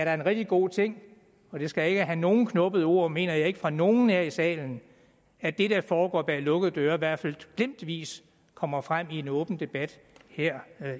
er en rigtig god ting og det skal ikke have nogen knubbede ord mener jeg ikke fra nogen her i salen at det der foregår bag lukkede døre i hvert fald glimtvis kommer frem i en åben debat her